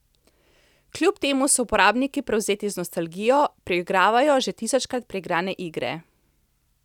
Kljub temu so uporabniki prevzeti z nostalgijo, preigravajo že tisočkrat preigrane igre.